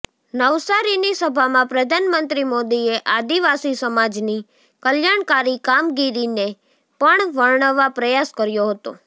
નવસારીની સભામાં પ્રધાનમંત્રી મોદીએ આદિવાસી સમાજની કલ્યાણકારી કામગીરીને પણ વર્ણવવા પ્રયાસ કર્યો હતો